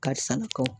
Karisa na kɔ